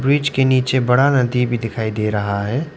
Bridge के नीचे बड़ा नदी भी दिखाई दे रहा है।